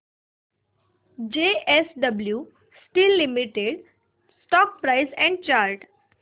JSW steel limited stock price and chart